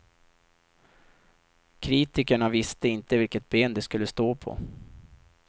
Kritikerna visste inte vilket ben de skulle stå på.